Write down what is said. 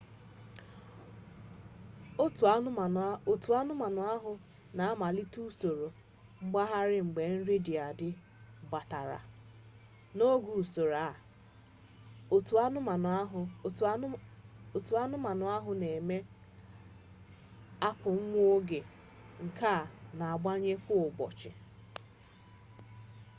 òtù anụmanụ ahụ na-amalite usoro nwagharị mgbe nri dị adị gbadatara. n’oge usoro a ò̀tù anụmanụ ahụ na-eme akwụ nwa oge nke a na-agbanwe kwa ụbọchị